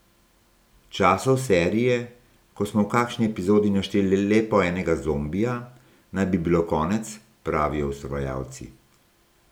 Časov serije, ko smo v kakšni epizodi našteli le po enega zombija, naj bi bilo konec, pravijo ustvarjalci.